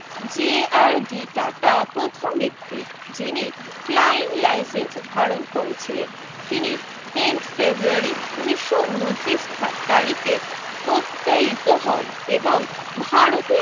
যে R D Tata প্রথম ব্যক্তি যিনি flying license ধারণ করেছিলেন তিনি tenth ফেব্রুয়ারি উনিশও উনত্রিশ তারিখে প্রত্যয়িত হন এবং ভারতীয়